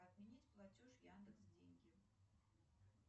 отменить платеж яндекс деньги